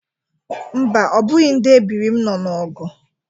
Mba, ọ bụghị ndị ebiri m nọ n'ogo